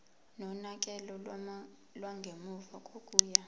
nonakekelo lwangemuva kokuya